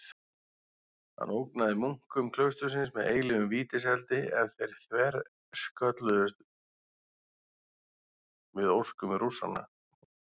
Hann ógnaði munkum klaustursins með eilífum vítiseldi ef þeir þverskölluðust við óskum Rússanna.